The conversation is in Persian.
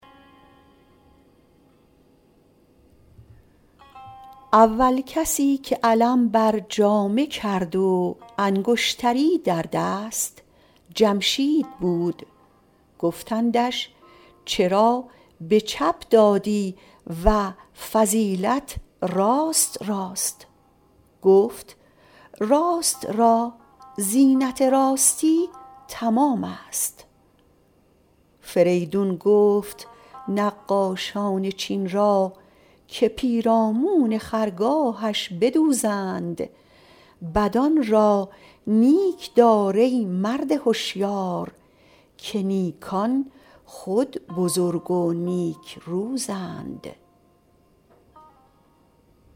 اول کسی که علم بر جامه کرد و انگشتری در دست جمشید بود گفتندش چرا به چپ دادی و فضیلت راست راست گفت راست را زینت راستی تمام است فریدون گفت نقاشان چین را که پیرامون خرگاهش بدوزند بدان را نیک دار ای مرد هشیار که نیکان خود بزرگ و نیک روزند